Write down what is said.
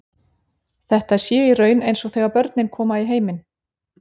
Þetta sé í raun eins og þegar börnin koma í heiminn.